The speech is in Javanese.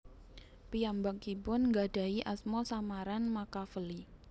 Piyambakipun nggadahi asma samaran Makaveli